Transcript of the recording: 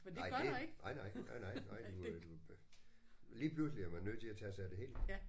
Nej det nej nej. Nej nej nej du øh du lige pludselig er man nødt til at tage sig af det hele